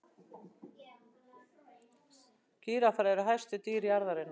Gíraffar eru hæstu dýr jarðarinnar.